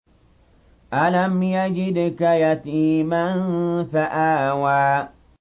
أَلَمْ يَجِدْكَ يَتِيمًا فَآوَىٰ